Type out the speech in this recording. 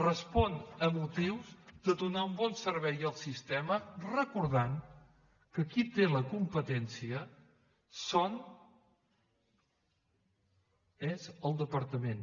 responen a motius de donar un bon servei al sistema recordant que qui té la competència és el departament